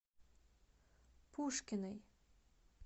пушкиной